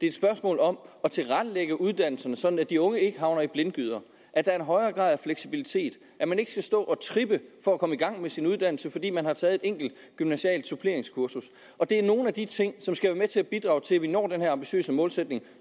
et spørgsmål om at tilrettelægge uddannelserne sådan at de unge ikke havner i blindgyder at der er en højere grad af fleksibilitet at man ikke skal stå og trippe for at komme i gang med sin uddannelse fordi man har taget et enkelt gymnasialt suppleringskursus og det er nogle af de ting som skal være med til at bidrage til at vi når den her ambitiøse målsætning